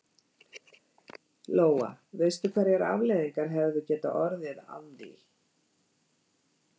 Lóa: Veistu hverjar afleiðingarnar hefðu getað orðið að því?